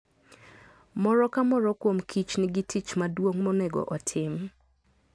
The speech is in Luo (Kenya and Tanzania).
Moro ka moro kuom kich nigi tich maduong' monego otim.